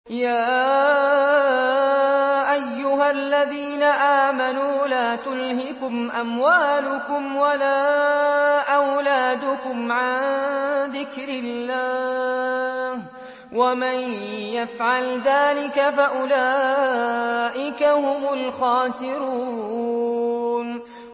يَا أَيُّهَا الَّذِينَ آمَنُوا لَا تُلْهِكُمْ أَمْوَالُكُمْ وَلَا أَوْلَادُكُمْ عَن ذِكْرِ اللَّهِ ۚ وَمَن يَفْعَلْ ذَٰلِكَ فَأُولَٰئِكَ هُمُ الْخَاسِرُونَ